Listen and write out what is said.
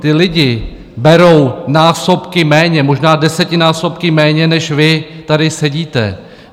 Ti lidi berou násobky méně, možná desetinásobky méně než vy tady sedíte.